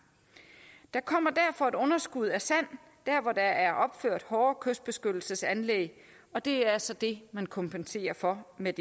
der kommer derfor et underskud af sand der hvor der er opført hårde kystbeskyttelsesanlæg og det er så det man kompenserer for med